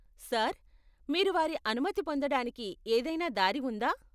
Sir, మీరు వారి అనుమతి పొందడానికి ఏదైనా దారి ఉందా?